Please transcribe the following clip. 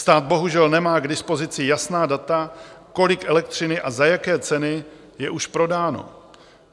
Stát bohužel nemá k dispozici jasná data, kolik elektřiny a za jaké ceny je už prodáno.